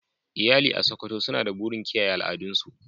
Iyali a Sokoto suna da burin kiyaye al'adun su.